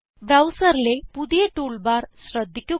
ബ്രൌസറിലെ പുതിയ toolbar ശ്രദ്ധിക്കുക